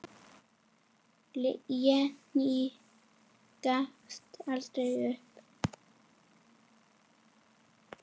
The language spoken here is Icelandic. Jenný gafst aldrei upp.